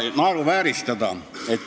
Naeruvääristamisest.